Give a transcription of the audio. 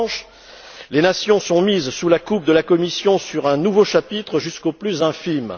En revanche, les nations sont mises sous la coupe de la Commission sur un nouveau chapitre, jusqu'au plus infime.